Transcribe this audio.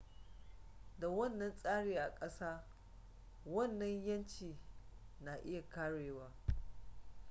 da wannan tsari a kasa wannan 'yanci na iya karewa